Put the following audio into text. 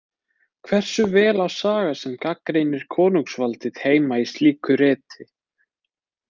Hversu vel á saga sem gagnrýnir konungsvaldið heima í slíku riti?